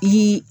Ii